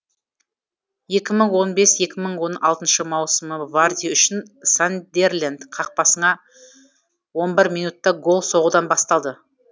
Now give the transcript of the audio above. екі мың он бес екі мың он алтыншы маусым варди үшін сандерленд қақпасыңа он бір минутта гол соғудан басталды